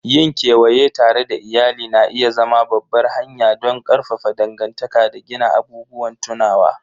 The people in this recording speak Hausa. Yin kewaye tare da iyali na iya zama babbar hanya don ƙarfafa dangantaka da gina abubuwan tunawa.